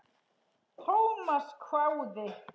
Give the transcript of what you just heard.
Thomas hváði.